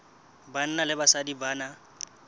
banna le basadi ba na